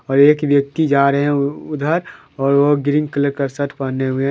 और एक व्यक्ति जा रहे ओ उधर और वह ग्रीन कलर का शर्ट पहने हुए हैं।